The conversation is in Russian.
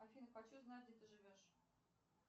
афина хочу знать где ты живешь